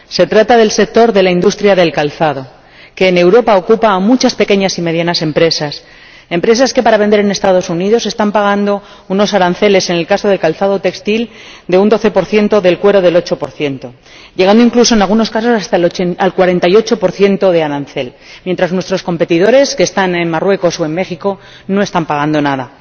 Se trata del sector de la industria del calzado, que en Europa ocupa a muchas pequeñas y medianas empresas, empresas que para vender en Estados Unidos están pagando aranceles —en el caso del calzado textil, de un 12 y del cuero, del 8 llegando incluso, en algunos casos, hasta el 48 de arancel—, mientras que nuestros competidores, que están en Marruecos o en México, no están pagando nada.